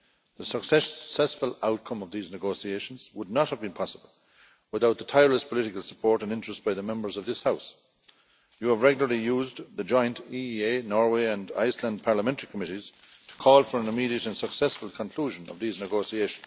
The successful outcome of these negotiations would not have been possible without the tireless political support and interest by the Members of this House. You have regularly used the joint EEA Norway and Iceland parliamentary committees to call for an immediate and successful conclusion of these negotiations.